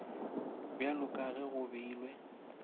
bjalo ka ge go beilwe